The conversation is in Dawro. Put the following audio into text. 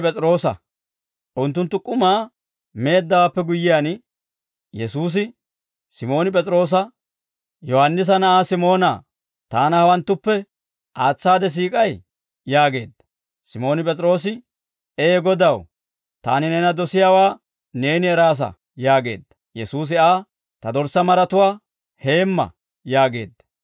Unttunttu k'umaa meeddawaappe guyyiyaan, Yesuusi Simooni P'es'iroosa, «Yohaannisa na'aa Simoonaa, Taana hawanttuppe aatsaade siik'ay?» yaageedda. Simooni P'es'iroose, «Ee Godaw, taani neena dosiyaawaa neeni eraasa» yaageedda. Yesuusi Aa, «Ta dorssaa maratuwaa heemma» yaageedda.